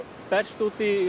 berst út í